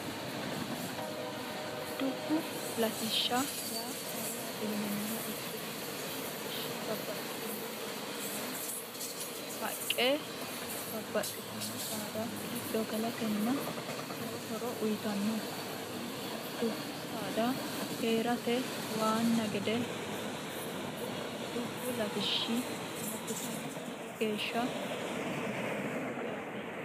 dubbu latishsha yaa mayyaate yinumoha ikkiro dubbu latishshi babbaxxitino doogonni haqqe babbaxxitino saada giddo galatenna lowo horo uyitanno kunnirano dubbu saada hee'rate waanna gede horonsi'nannihu dubbu ltishsh lttism lowo geeshsha hasiissanno yaate